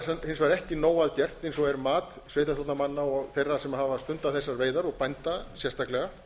hins vegar ekki nóg að gert eins og er mat sveitarstjórnarmanna og þeirra sem hafa stundað þessar veiðar og bænda sérstaklega